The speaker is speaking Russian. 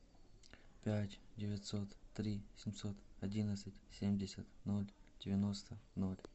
пять девятьсот три семьсот одиннадцать семьдесят ноль девяносто ноль